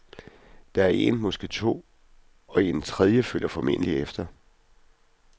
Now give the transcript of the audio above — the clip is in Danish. Der er en, måske to, og en tredje følger formentligt efter.